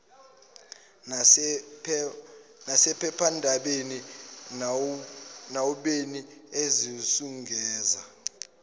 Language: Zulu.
nasephephandabeni noabeni ezizungeza